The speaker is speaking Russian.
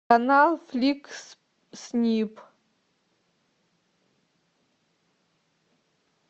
канал фликс снип